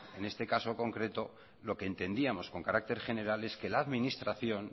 en este caso concreto lo que entendíamos con carácter general es que la administración